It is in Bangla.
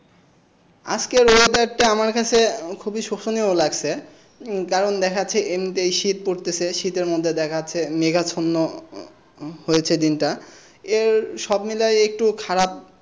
আজকের weather টা আমার কাছে খুবই শোষোনিয় লাগছে উম কারণ দেখাচ্ছে এমনিতেই শীত পড়তেছে শীতের মধ্যে দেখা যাচ্ছে মেঘাচ্ছন্ন হ~হয়েছে দিনটা এর সব মিলিয়ে একটু খারাপ,